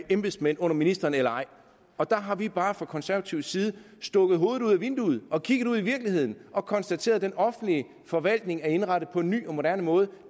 embedsmænd under ministeren eller ej der har vi bare fra konservatives side stukket hovedet vinduet og kigget ud i virkeligheden og konstateret at den offentlige forvaltning er indrettet på en ny og moderne måde